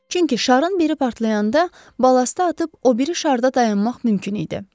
Çünki şarın biri partlayanda balastı atıb o biri şarda dayanmaq mümkün idi.